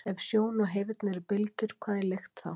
Ef sjón og heyrn eru bylgjur, hvað er lykt þá?